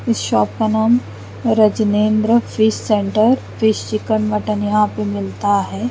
इस शॉप का नाम Rajendra fish centre fish chicken mutton मिलता है।